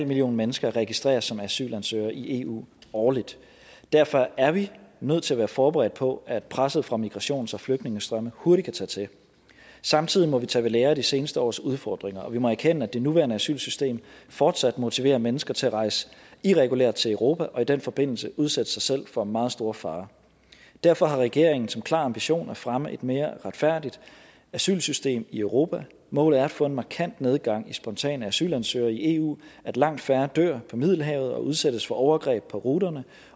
millioner mennesker registreres som asylansøgere i eu årligt derfor er vi nødt til at være forberedt på at presset fra migrations og flygtningestrømme hurtigt kan tage til samtidig må vi tage ved lære af de seneste års udfordringer og vi må erkende at det nuværende asylsystem fortsat motiverer mennesker til at rejse irregulært til europa og i den forbindelse udsætte sig selv for meget store fare derfor har regeringen som klar ambition at fremme et mere retfærdigt asylsystem i europa målet er at få en markant nedgang i spontane asylansøgere i eu at langt færre dør på middelhavet og udsættes for overgreb på ruterne